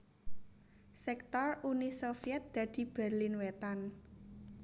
Sektor Uni Sovyèt dadi Berlin Wétan